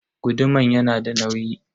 Guduman yanada nauyi.